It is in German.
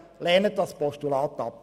Lehnen Sie dieses Postulat ab.